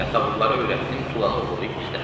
Yasavulları öyrətdim, tulanı oğurlayıb gizlətdilər.